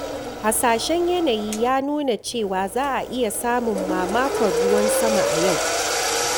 Hasashen yanayi ya nuna cewa za'a iya samun mamakon ruwan sama a yau.